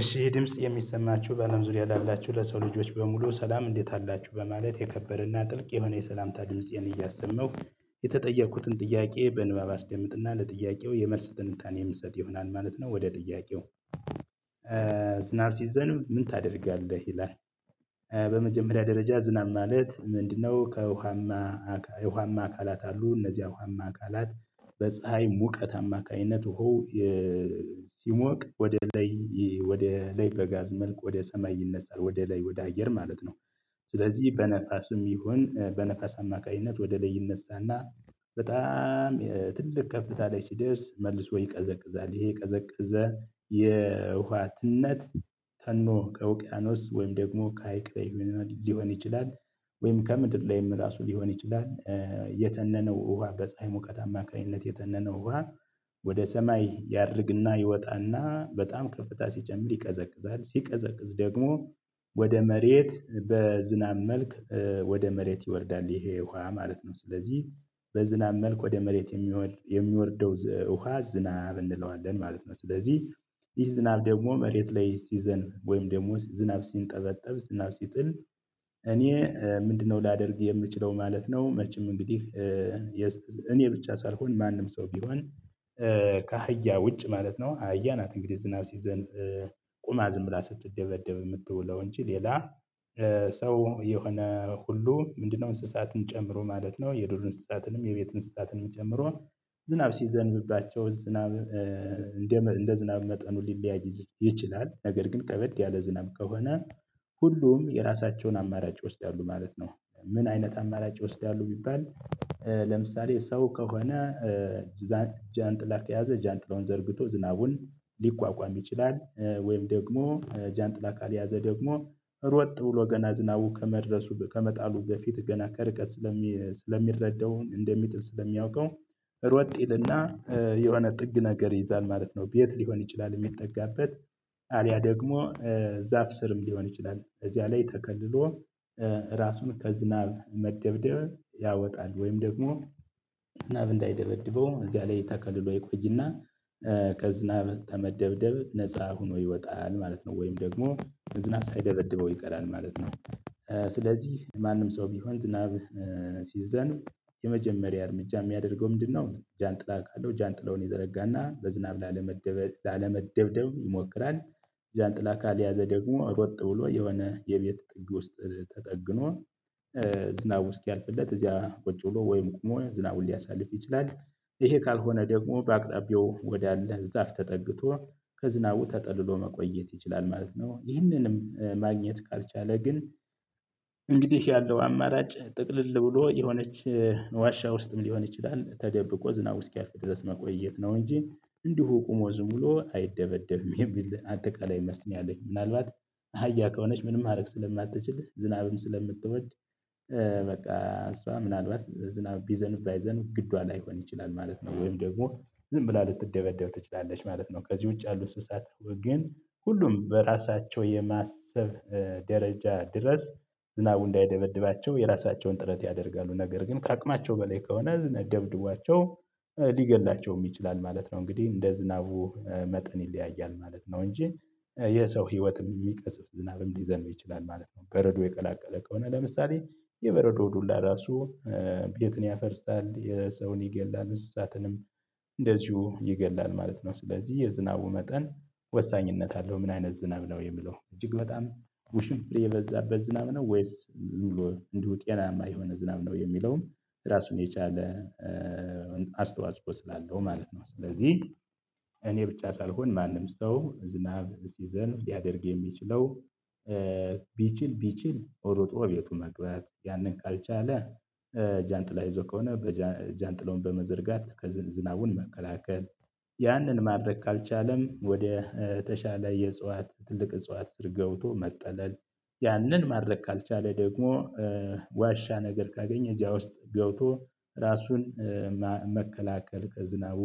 እሺ ድምጽ የሚሰማችሁ ባለም ዙሪያ ላላችሁ ለሰው ልጆች በሙሉ ሰላም እንዴት አላችሁ በማለት የከበረና ጥልቅ የሆነ የሰላምታ ድምፄን እያሰማሁ የተጠየኩትን ጥያቄ በንባብ አስደምጥና ለጥያቄው የመልስ ትንታኔ የምሰጥ ይሆናል ማለት ነው። ወደ ጥያቄው ዝናብ ሲዘምብ ምን ታደርጋለህ? ይላል በመጀመሪያ ደረጃ ዝናብ ማለት ምንድነው? ከውሃማ ውሃማ አካላት አሉ እነዚህ ውሃማ አካላት በፀሀይ ሙቀት አማካኝነት ውሃው ሲሞቅ ወደ ላይ ወደ ላይ በጋዝ መልኩ ወደ ሰማይ ይነሳል ወደ ላይ ወደ አየር ማለት ነው። ስለዚህ በነፋስም ይሁን በነፋስ አማካኝነት ወደ ላይ ይነሳና በጣም ትልቅ ከፍታ ላይ ሲደርስ መልሶ ይቀዘቅዛል ይሄ የቀዘቅዘ የውሃ ትነት ተኖ ከውቅያኖስ ወይም ደግሞ ከሀይቅ ላይ ሊሆን ይችላል። ወይም ከምድር ላይም ራሱ ሊሆን ይችላል። የተነነው ውሃ በፀሀይ ሙቀት አማካኝነት የተነነው ውሃ ወደ ሰማይ ያርግና ይወጣና በጣም ከፍታ ሲጨምር ይቀዘቅዛል ሲቀዘቅዝ ደግሞ ወደ መሬት በዝናብ መልክ ወደ መሬት ይወርዳል ይሄ ውሃ ማለት ነው። ስለዚህ በዝናብ መልክ ወደ መሬት የሚወርደው ውሃ ዝናብ እንለዋለን ማለት ነው። ስለዚህ ይህ ዝናብ ደግሞ መሬት ላይ ሲዘንብ ወይም ደግሞ ዝናብ ሲንጠበጠብ ዝናብ ሲጥል። እኔ ምንድነው ላደርግ የምችለው ማለት ነው። መቼም እንግዲህ እኔ ብቻ ሳልሆን ማንም ሰው ቢሆን ከአህያ ውጭ ማለት ነው። አህያ ናት እንግዲህ ዝናብ ሲዘን ቁማ ዝም ብላ ስትደበደብ የምትውለው እንጂ ሌላ ሰው የሆነ ሁሉ ምንድነው እንስሳትን ጨምሮ ማለት ነው። የዱር እንስሳትንም የቤት እንስሳትንም ጨምሮ ዝናብ ሲዘንብባቸው ዝናብ እንደ እንደ ዝናብ መጠኑ ሊለያይ ይችላል ነገር ግን ከበድ ያለ ዝናብ ከሆነ ሁሉም የራሳቸውን አማራጭ ይወስዳሉ ማለት ነው። ምን አይነት አማራጭ ይወስዳሉ ቢባል? ለምሳሌ ሰው ከሆነ ጃንጥላ ከያዘ ጃንጥላውን ዘርግቶ ዝናቡን ሊቋቋም ይችላል ወይም ደግሞ ጃንጥላ ካልያዘ ደግሞ ሮጥ ብሎ ገና ዝናቡ ከመድረሱ ከመጣሉ በፊት ገና ከርቀት ስለሚረዳው እንደሚጥል ስለሚያውቀው ሮጥ ይልና የሆነ ጥግ ነገር ይይዛል ማለት ነው። ቤት ሊሆን ይችላል የሚጠጋበት አልያ ደግሞ ዛፍ ስርም ሊሆን ይችላል እዚያ ላይ ተከልሎ ራሱን ከዝናብ መደብደብ ያወጣል። ወይም ደግሞ ናብ እንዳይደበድበው እዚያ ላይ ተከልሎ ይቆይና ከዝናብ ከመደብደብ ነፃ ሆኖ ይወጣል ማለት ነው። ወይም ደግሞ ዝናብ ሳይደበድበው ይቀራል ማለት ነው። ስለዚህ ማንም ሰው ቢሆን ዝናብ ሲዘንብ የመጀመሪያ እርምጃ የሚያደርገው ምንድነው? ጃንጥላ ካለው ጃንጥላውን ይዘረጋና በዝናብ ላለመደብደብ ይሞክራል። ጃንጥላ ካልያዘ ደግሞ ሮጥ ብሎ የሆነ የቤት ጥግ ውስጥ ተጠግቶ ዝናቡ እስኪያልፍለት እዚያ ቁጭ ብሎ ወይም ቁሞ ዝናቡን ሊያሳልፍ ይችላል። ይሄ ካልሆነ ደግሞ በአቅራቢው ወዳለ ዛፍ ተጠግቶ ከዝናቡ ተጠልሎ መቆየት ይችላል ማለት ነው። ይህንንም ማግኘት ካልቻለ ግን እንግዲህ ያለው አማራጭ ጥቅልል ብሎ የሆነች ዋሻ ውስጥም ሊሆን ይችላል ተደብቆ ዝናቡ እስኪያልቅ ድረስ መቆየት ነው እንጂ እንዲሁ ቆሞ ዝም ብሎ አይደበደብም የሚል አጠቃላይ መልስ ነው። ያልኝ ምናልባት አህያ ከሆነች ምንም ማድረግ ስለማትችል ዝናብም ስለምትወድ በቃ እሷ ምናልባት ዝናብ ቢዘንብ ባይዘንብ ግዷ ላይሆን ይችላል ማለት ነው። ወይም ደግሞ ዝም ብላ ልትደበደብ ትችላለች ማለት ነው። ከዚህ ውጭ ያሉት እንስሳት ግን ሁሉም በራሳቸው የማሰብ ደረጃ ድረስ ዝናቡ እንዳይደበድባቸው የራሳቸውን ጥረት ያደርጋሉ። ነገር ግን ከአቅማቸው በላይ ከሆነ ዝናብ ደብድቧቸው ሊገድላቸውም ይችላል ማለት ነው። እንግዲህ እንደ ዝናቡ መጠን ይለያያል ማለት ነው። እንጂ የሰው ህይወትም የሚቀስፍ ዝናብም ሊዘንብ ይችላል ማለት ነው። በረዶ የቀላቀለ ከሆነ ለምሳሌ የበረዶ ዱላ ራሱ ቤትን ያፈርሳል ሰውን ይገላል እንስሳትንም እንደዚሁ ይገላል ማለት ነው። ስለዚህ የዝናቡ መጠን ወሳኝነት አለው። ምን አይነት ዝናብ ነው የሚለው እጅግ በጣም ውሽንፍር የበዛበት ዝናብ ነው ወይስ ዝምብሎ እንዲሁ ጤናማ የሆነ ዝናብ ነው የሚለውን ራሱን የቻለ አስተዋጽኦ ስላለው ማለት ነው። ስለዚህ እኔ ብቻ ሳልሆን ማንም ሰው ዝናብ ሲዘንብ ሊያደርግ የሚችለው ቢችል ቢችል ሮጦ ቤቱ መግባት ያንን ካልቻለ ጃንጥላ ይዞ ከሆነ ጃንጥላውን በመዘርጋት ዝናቡን መከላከል ያንን ማድረግ ካልቻለም ወደ ተሻለ የእጽዋት ትልቅ እጽዋት ስር ገብቶ መጠለል ያንን ማድረግ ካልቻለ ደግሞ ዋሻ ነገር ካገኘ እዛ ውስጥ ገብቶ ራሱን መከላከል ከዝናቡ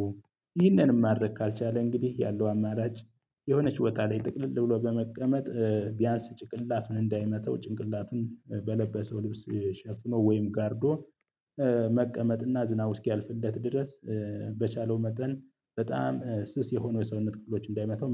ይህንንም ማድረግ ካልቻለ እንግዲህ ያለው አማራጭ የሆነች ቦታ ላይ ጥቅልል ብሎ በመቀመጥ ቢያንስ ጭቅላት እንዳይመተው ጭንቅላቱን በለበሰው ልብስ ሸፍኖ ወይም ጋርዶ መቀመጥና ዝናቡ እስኪያልፍለት ድረስ በቻለው መጠን በጣም ስስ የሆነው የሰውነት ክፍሎቹን እንዳይመታው